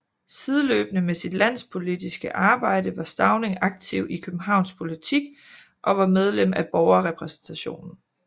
Sideløbende med sit landspolitiske arbejde var Stauning aktiv i københavnsk politik og var medlem af Borgerrepræsentationen